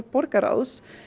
borgarráðs